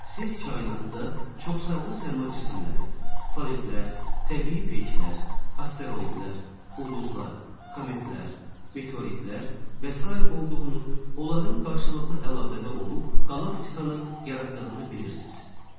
Siz kainatda çoxsaylı səma cisimləri, planetlər, təbii peyklər, asteroidlər, ulduzlar, kometlər, meteoritlər və sair olduğunu, onların qarşılıqlı əlaqədə olub, qalaktikaları yaratdığını bilirsiz.